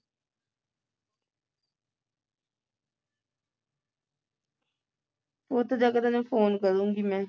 ਉੱਥੇ ਜਾ ਕੇ ਤੈਨੂੰ phone ਕਰੂੰਗੀ ਮੈਂ